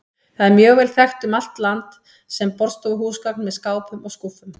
Það er mjög vel þekkt um allt land sem borðstofuhúsgagn með skápum og skúffum.